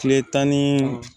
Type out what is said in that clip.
Kile tan ni